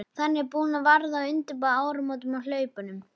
Þannig að hún varð að undirbúa áramótin á hlaupum.